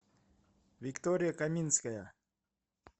виктория каминская